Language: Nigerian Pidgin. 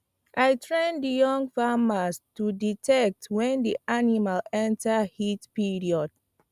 i train the young farmers to detect when the animals enter heat period